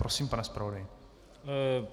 Prosím, pane zpravodaji.